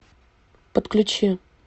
подключи